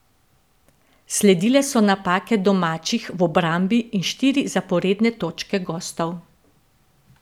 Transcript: Sledile so napake domačih v obrambi in štiri zaporedne točke gostov.